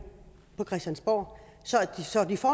på christiansborg så de får